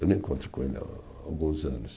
Eu me encontro com ele há alguns anos.